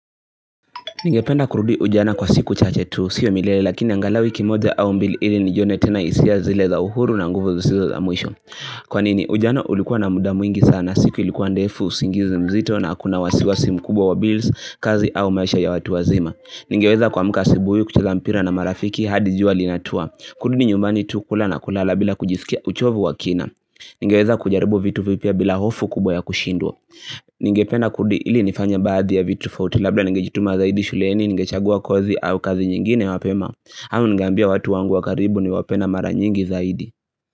Ningependa kurudi ujana kwa siku chache tu, siyo milele lakini angalau wiki moja au mbili ili nijione tena hisia zile za uhuru na nguvu zisizo za mwisho. Kwanini? Ujana ulikuwa na muda mwingi sana, siku ilikuwa ndefu, usingizi mzito na hakuna wasiwasi mkubwa wa bills, kazi au maisha ya watu wazima. Ningeweza kuamka asubuhi kucheza mpira na marafiki hadi jua linatua. Kurudi nyumbani tu kula na kulala bila kujisikia uchovu wa kina. Ningeweza kujaribu vitu vipya bila hofu kubwa ya kushindwa. Ningependa kurudi ili nifanye baadhi ya vitu tofauti, labda nigejituma zaidi shuleni Nigechagua kozi au kazi nyingine mapema au ningeambia watu wangu wa karibu niwapenda mara nyingi zaidi.